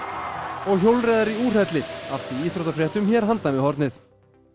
og hjólreiðar í úrhelli allt í íþróttafréttum hér handan við hornið